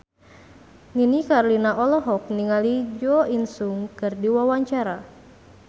Nini Carlina olohok ningali Jo In Sung keur diwawancara